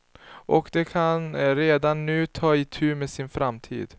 Och de kan redan nu ta itu med sin framtid.